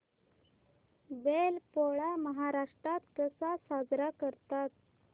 बैल पोळा महाराष्ट्रात कसा साजरा करतात